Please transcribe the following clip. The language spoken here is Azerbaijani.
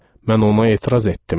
Mən ona etiraz etdim.